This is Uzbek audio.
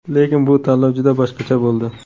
Lekin bu tanlov juda boshqacha bo‘ldi.